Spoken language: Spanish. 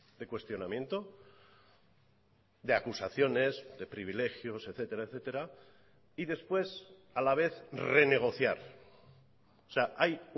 de cuestionamiento de acusaciones de privilegios etcétera etcétera y después a la vez renegociar o sea hay